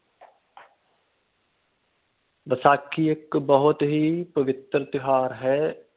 ਵੈਸਾਖੀ ਇਕ ਬਹੁਤ ਹੀ ਪਵੱਤਰ ਤਿਉਹਾਰ ਹੈ।